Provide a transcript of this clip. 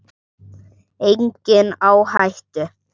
Enginn á hættu.